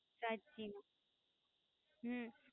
સાચી વાત હમ